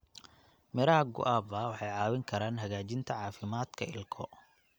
Miraha guava waxay caawin karaan hagaajinta caafimaadka ilko.